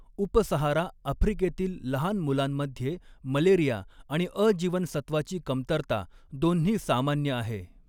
उप Sahara आफ्रिकेतील लहान मुलांमध्ये मलेरिया आणि अ जीवनसत्त्वाची कमतरता, दोन्ही सामान्य आहे.